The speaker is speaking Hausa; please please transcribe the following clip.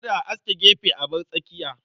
Kada a aske gefe a bar tsakiya.